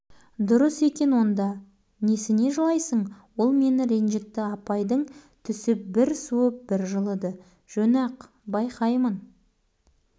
немене сен ұрғанда қуаныш ыза болмай ма ренжімей ме онда төбелессін өшін алсын әлі келмей ме